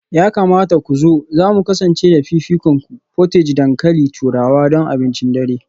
Ya kamata ku zo, za mu kasance da fifikonku; portage dankalin turawa don abincin dare